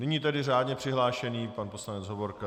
Nyní tedy řádně přihlášený pan poslanec Hovorka.